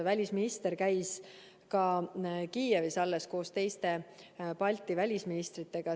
Välisminister käis äsja koos teiste Balti välisministritega Kiievis.